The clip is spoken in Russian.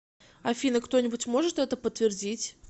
афина кто нибудь может это подтвердить